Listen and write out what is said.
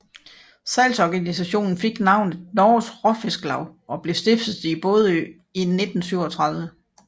Salgsorganisationen fik navnet Norges Råfisklag og blev stiftet i Bodø i 1937